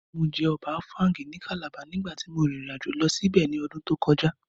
Mo jẹ ọbẹ̀ áfáúngì ní Calabar nígbàtí mo rìn ìrìnàjò lọ síbẹ̀ ní ọdún tó kọjá